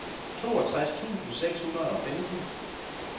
toogtres tusind seks hundrede og femten